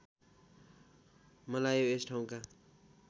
मलायो यस ठाउँका